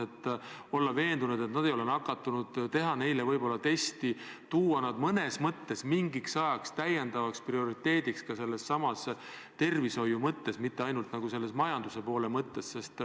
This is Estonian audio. Me ju tahame olla veendunud, et nad ei ole nakatunud, ehk tuleks teha neile test ja pidada neid ka tervishoiu mõttes mingil ajal nagu prioriteediks, mitte ainult majanduse mõttes.